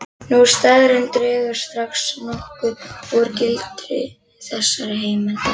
Sú staðreynd dregur strax nokkuð úr gildi þessarar heimildar.